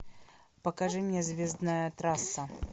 покажи мне звездная трасса